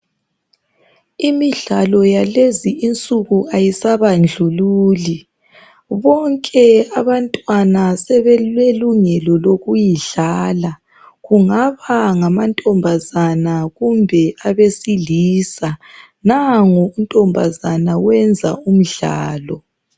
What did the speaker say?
Imidlalo yalezinsuku ayisabandlululi bonke abantwana sebelelungelo lokuyidlala . Kungaba ngamantombazane kumbe abesilisa . Nangu untombazana uyenza umdlalo.